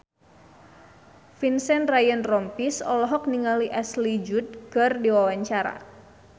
Vincent Ryan Rompies olohok ningali Ashley Judd keur diwawancara